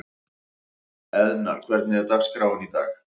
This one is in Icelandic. Eðna, hvernig er dagskráin í dag?